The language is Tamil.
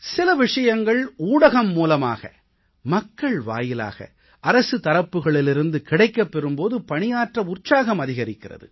சில விஷயங்கள் ஊடகம் மூலமாக மக்கள் வாயிலாக அரசு தரப்புகளிலிருந்து கிடைக்கப் பெறும் போது பணியாற்ற உற்சாகம் அதிகரிக்கிறது